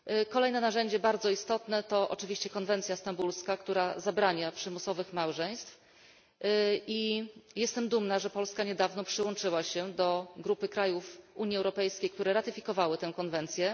Kolejne narzędzie bardzo istotne to oczywiście konwencja stambulska, która zabrania przymusowych małżeństw i jestem dumna, że Polska niedawno przyłączyła się do grupy krajów Unii Europejskiej, które ratyfikowały tę konwencję.